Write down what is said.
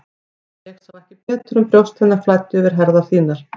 Og ég sá ekki betur en brjóst hennar flæddu yfir herðar þínar.